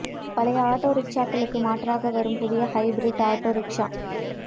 பழைய ஆட்டோ ரிக்ஷாக்களுக்கு மாற்றாக வரும் புதிய ஹைபிரிட் ஆட்டோ ரிக்ஷா